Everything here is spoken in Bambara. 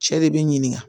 Cɛ de b'i ɲininka